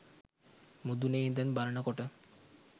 මුදුනෙ ඉඳන් බලනකොට